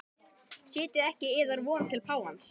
Setjið ekki yðar von til páfans.